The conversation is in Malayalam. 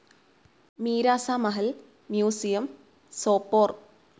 മീരാസ മഹൽ മ്യൂസിയം, സോപ്പോർ